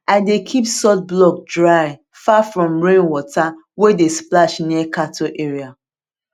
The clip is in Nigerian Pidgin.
i dey keep salt block dry far from rain water wey dey splash near cattle area